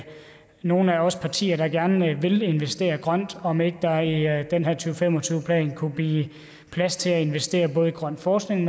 nogle af os partier der gerne vil investere grønt om ikke der i den her to fem og tyve plan kunne blive plads til at investere i både grøn forskning